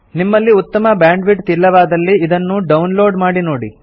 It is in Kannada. ನಿಮ್ಮಲ್ಲಿ ಉತ್ತಮ ಬ್ಯಾಂಡ್ವಿಡ್ತ್ ಇಲ್ಲವಾದಲ್ಲಿ ಇದನ್ನು ಡೌನ್ ಲೋಡ್ ಮಾಡಿ ನೋಡಿ